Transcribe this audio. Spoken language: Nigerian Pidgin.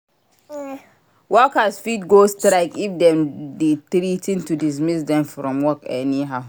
Workers fit go on strike if dem de threa ten to dismiss them from work anyhow